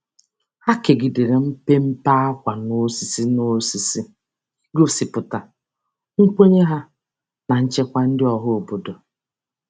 Ha kegidere mpempe ákwà n'osisi, n'osisi, igosipụta nkwenye ha na nchekwa ndị ọhaobodo.